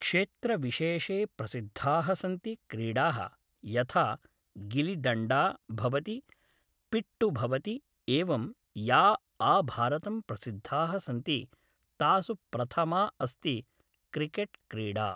क्षेत्रविशेषे प्रसिद्धाः सन्ति क्रीडाः यथा गिलिडण्डा भवति पिट्ठु भवति एवं या आभारतं प्रसिद्धाः सन्ति तासु प्रथमा अस्ति क्रिकेट् क्रीडा